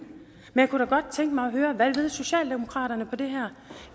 jeg kunne da godt tænke mig at høre hvad socialdemokratiet vil på det her